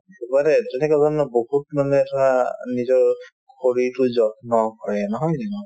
তেনেকুৱা ধৰণৰ বহুত মানে চোৱা নিজৰ শৰীৰটোৰ যত্ন কৰে নহয় জানো